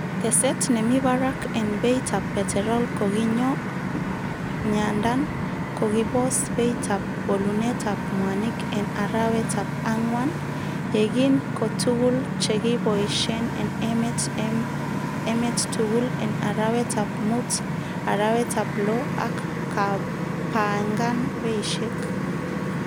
Teset nemi barak en beitab peterol kokinyo ng'andan kokibos beita bolunetab mwanik en arawetab angwan, yekin ko tuguk chekiboishen en emet emet tugul en arawetab mut-arawetab loo, ak kepangan beishek.